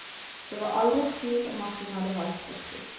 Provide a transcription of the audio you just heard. Det var aldri tvil om at hun hadde valgt riktig.